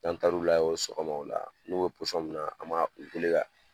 N'an taar'u lajɛ sɔgɔma o la n'u bɛ min a an b'a u wuli ka